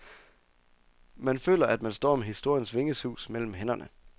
Man føler, at man står med historiens vingesus mellem hænderne.